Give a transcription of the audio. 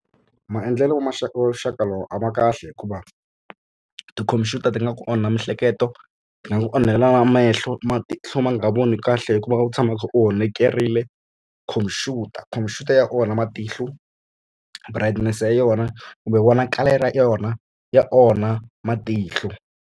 Maendlelo ya wa vuxaka lowu a ma kahle hikuva tikhompyuta ti nga ku onha mihleketo ti nga ku onhela na mehlo matihlo ma nga voni kahle hikuva u tshama u kha u honekerile khompyuta. Khompyuta ya onha matihlo brightness ya yona kumbe vonakalelo ya yona ya onha matihlo.